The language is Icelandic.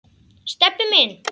Stebbi minn.